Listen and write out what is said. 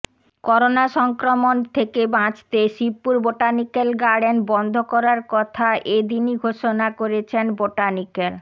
corona সংক্রমণ থেকে বাঁচতে শিবপুর বটানিক্যাল গার্ডেন বন্ধ করার কথা এ দিনই ঘোষণা করেছেন বটানিক্যাল